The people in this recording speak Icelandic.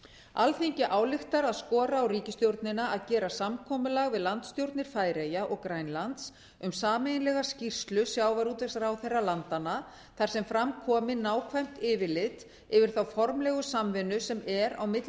alþingi ályktar að skora á ríkisstjórnina að gera samkomulag við landsstjórnir færeyja og grænlands um sameiginlega skýrslu sjávarútvegsráðherra landanna þar sem fram komi nákvæmt yfirlit yfir þá formlegu samvinnu sem er á milli